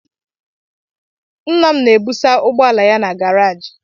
Nna m na-ebusa ụgbọala ya na garaajị.